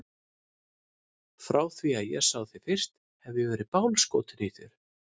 Frá því að ég sá þig fyrst hef ég verið bálskotinn í þér.